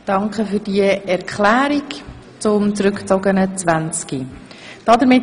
Danke für diese Erklärung zum zurückgezogenen Traktandum 20.